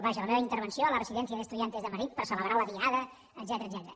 vaja la meva intervenció a la residencia de estudiantes de madrid per a celebrar la diada etcètera